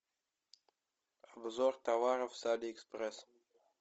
обзор товаров с алиэкспресс